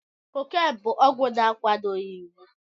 Cocaine bụ ọgwụ na-akwadoghị iwu.